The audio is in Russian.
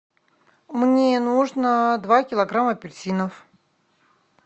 мне нужно два килограмма апельсинов